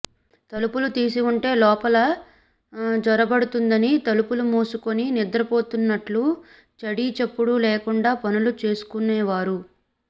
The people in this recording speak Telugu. తలుపులు తీసివుంటే లోపల జొరబడుతుందని తలుపులు మూసుకుని నిద్రపోతున్నట్టు చడీచప్పుడు లేకుండా పనులు చేసుకునేవారు